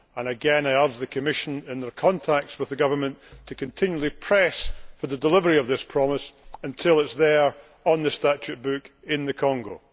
Again, I urge the Commission, in their contact with the government, to continually press for the delivery of this promise until it is there on the statute book in the Congo.